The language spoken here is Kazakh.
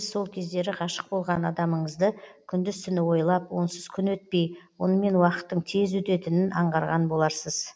сол кездері ғашық болған адамыңызды күндіз түні ойлап онсыз күн өтпей онымен уақыттың тез өтетінін аңғарған боларсыз